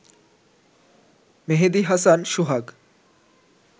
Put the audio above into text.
মেহেদি Hasan সোহাগ